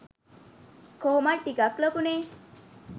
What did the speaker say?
කොහොමත් ටිකක් ලොකුනෙ'